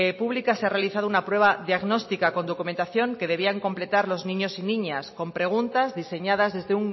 públicas se ha realizado una prueba diagnóstica con documentación que debían completar los niños y niñas con preguntas diseñadas desde